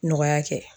Nɔgɔya kɛ